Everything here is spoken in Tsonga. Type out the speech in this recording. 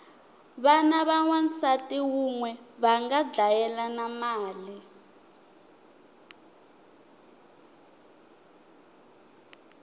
vana va wansati unwe vanga dlayelana mali